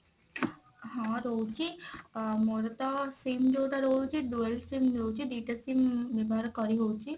ହଁ ଦଉଛି ଅ ମୋର ତ sim ଯଉଟା ରହୁଛି dual sim ରହୁଛି ଦି ଟା sim ବ୍ୟବହାର କରି ହଉଛି